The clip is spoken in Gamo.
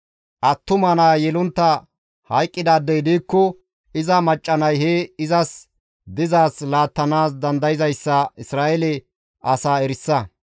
Attuma naa yelontta hayqqidaadey diikko iza macca nay he izas dizaaz laattanaas dandayzayssa Isra7eele asaa erisa.